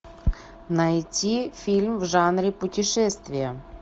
найти фильм в жанре путешествие